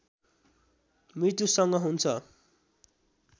मृत्युसँग हुन्छ